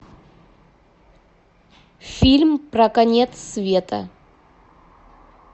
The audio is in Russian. фильм про конец света